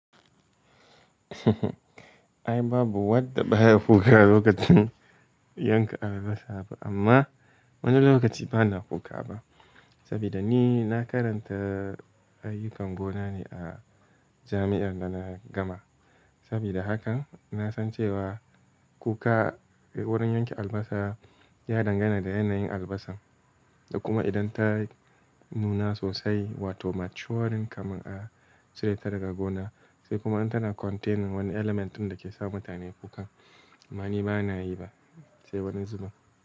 Ai babu wadda baya kuka lokacin yanka albasa ba amma wani lokaci bana kuka ba. Saboda ni na karanta ayyukan gona ne a jami'ar da na gama. Saboda hakan na san cewa kuka wurin yanke albasa ya dangana da yanayin albasan, da kuma idan ta nuna sosai wato maturing kamar a cire ta daga gona, sai kuma in tana containing wani element din da ke sa mutane kuka. Amma ni bana yi ba, sai wani zuba.